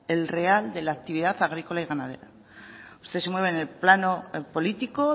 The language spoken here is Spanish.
el real de la actividad agrícola y ganadera usted se mueve en el plano político